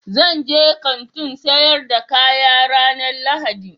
Zan je Kantin sayar da kaya ranan lahadi.